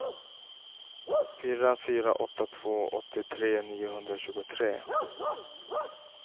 fyra fyra åtta två åttiotre niohundratjugotre